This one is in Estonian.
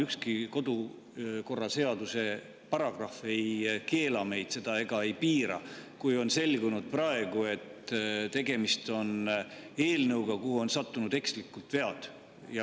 Ükski kodukorraseaduse paragrahv ei keela meil seda teha ega piira, kui on selgunud praegu, et tegemist on eelnõuga, kuhu on sattunud ekslikult vead.